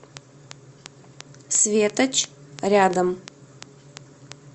светоч рядом